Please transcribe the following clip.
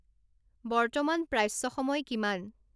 বৰ্তমান প্ৰাচ্য সময় কিমান